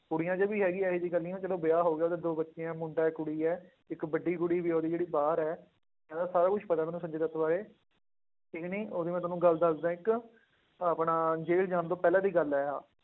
ਕੁੜੀਆਂ 'ਚ ਵੀ ਹੈਗੀ ਹੈ ਇਹ ਜਿਹੀ ਗੱਲ ਨੀ ਆ, ਚਲੋ ਵਿਆਹ ਹੋ ਗਿਆ ਉਹਦੇ ਦੋ ਬੱਚੇ ਆ ਮੁੰਡਾ ਇੱਕ ਕੁੜੀ ਹੈ, ਇੱਕ ਵੱਡੀ ਕੁੜੀ ਵੀ ਉਹਦੀ ਜਿਹੜੀ ਬਾਹਰ ਹੈ, ਇਹਦਾ ਸਾਰਾ ਕੁਛ ਪਤਾ ਮੈਨੂੰ ਸੰਜੇ ਦੱਤ ਬਾਰੇ, ਇੱਕ ਨਾ ਉਹਦੀ ਮੈਂ ਤੁਹਾਨੂੰ ਗੱਲ ਦੱਸਦਾਂ ਇੱਕ, ਆਪਣਾ ਜੇਲ੍ਹ ਜਾਣ ਤੋਂ ਪਹਿਲਾਂ ਦੀ ਗੱਲ ਹੈ ਆਹ,